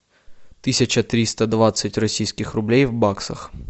тысяча триста двадцать российских рублей в баксах